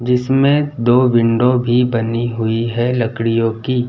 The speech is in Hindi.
जिसमें दो विंडो भी बनी हुई है लकडीयों की।